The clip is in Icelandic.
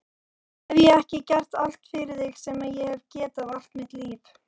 Hef ég ekki gert allt fyrir þig sem ég hef getað allt mitt líf?